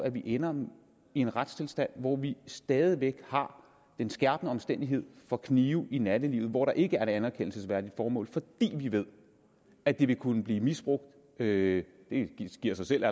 at vi ender med en retstilstand hvor vi stadig væk har den skærpende omstændighed for knive i nattelivet hvor der ikke er et anerkendelsesværdigt formål fordi vi ved at det ville kunne blive misbrugt det giver sig selv